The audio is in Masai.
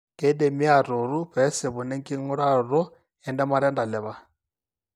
Keidimi aatuutu peesipuni enking'uraroto entemata entalipa.